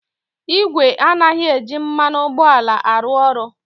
Igwe anaghị eji mmanụ ụgbọala arụ ọrụ.